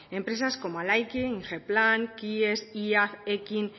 empresas como ingeplan iaz ekin